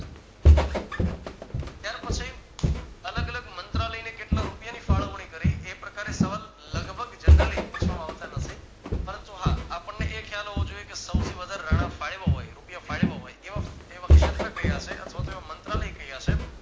અલગ અલગ મંત્રાલયને કેટલા રૂપિયા ની ફાણવની કરી એ પ્રકારે સવાલ લગભગ generaly પૂછવામાં આવતા નથી પરંતુ હા આપણને એ ખ્યાલ હોવો જોઈએ કે સૌથી વધારે રાણા ફાઈવ હોઈ રૂપિયા ફાયવ વ હોય એવા હોય એવા ક્ષેત્ર કયા છે અથવા તો એવા મંત્રાલય કયા છે